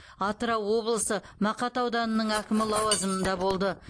атырау облысы мақат ауданының әкімі лауазымында болды